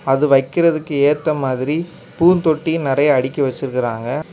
அது வைக்குறதுக்கு ஏத்த மாறி பூந்தொட்டி நெறைய அடுக்கி வச்சிருக்காங்க.